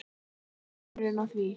hver er munurinn á því?